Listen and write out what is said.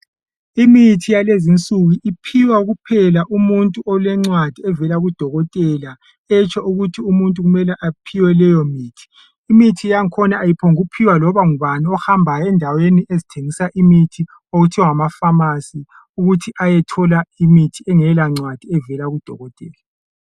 Imithi yakulezi insuku iphiwa kuphela umuntu olemcwadi evela kudokotela etsho ukuthi umuntu kumele aphiwe leyo mithi, imithi yangakhona ayiphonguphiwa laloba ngubani ohambayo endaweni ezithengisa imithi okuthiwa ngamafamasi engela ncwadi evela kudokotela.